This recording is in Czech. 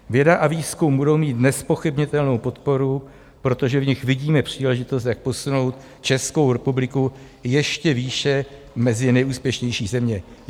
- Věda a výzkum budou mít nezpochybnitelnou podporu, protože v nich vidíme příležitost, jak posunout Českou republiku ještě výše mezi nejúspěšnější země.